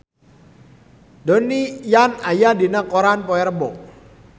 Donnie Yan aya dina koran poe Rebo